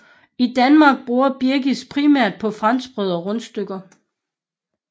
I Danmark bruges birkes primært på franskbrød og rundstykker